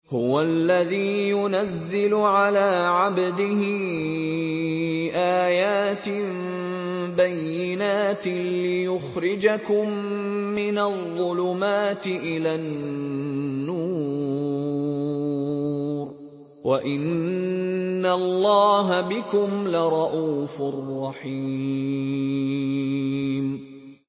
هُوَ الَّذِي يُنَزِّلُ عَلَىٰ عَبْدِهِ آيَاتٍ بَيِّنَاتٍ لِّيُخْرِجَكُم مِّنَ الظُّلُمَاتِ إِلَى النُّورِ ۚ وَإِنَّ اللَّهَ بِكُمْ لَرَءُوفٌ رَّحِيمٌ